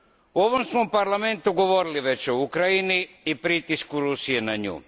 U ovom smo parlamentu govorili već o Ukrajini i pritisku Rusije na nju.